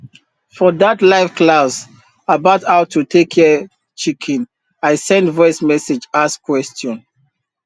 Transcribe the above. for dat live class about how to take care chicken i send voice message ask question